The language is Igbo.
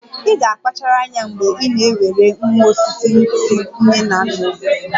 Ị ga-akpachara anya mgbe ị na-ewere nwa osisi si nne na nna osisi!